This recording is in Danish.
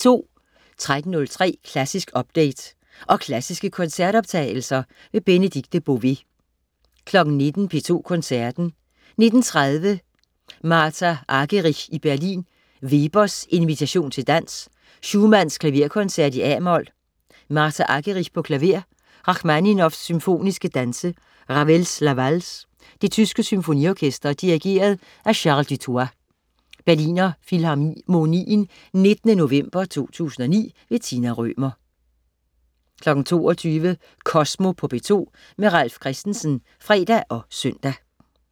13.03 Klassisk update. Og klassiske koncertoptagelser. Benedikte Bové 19.00 P2 Koncerten. 19.30 Martha Argerich i Berlin. Weber: Invitation til dans. Schumann: Klaverkoncert, a-mol. Martha Argerich, klaver. Rakhmaninov: Symfoniske danse. Ravel: La Valse. Det tyske Symfoniorkester. Dirigent: Charles Dutoit. (Berliner Filharmonien 19. november 2009). Tina Rømer 22.00 Kosmo på P2. Ralf Christensen (fre og søn)